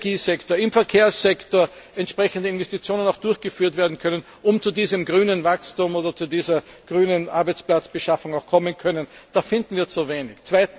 im Energiesektor oder im Verkehrssektor entsprechende Investitionen durchgeführt werden können, um zu diesem grünen Wachstum oder zu dieser grünen Arbeitsplatzbeschaffung zu kommen. Da finden wir zu wenig.